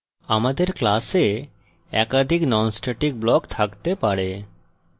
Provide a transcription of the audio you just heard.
আমাদের class একাধিক non static blocks থাকতে পারে